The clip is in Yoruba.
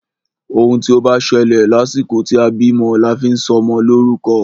Òun tí o bá ṣẹlẹ̀ lásìkò tí a bímọ la fi sọ ọmọ lórúkọ.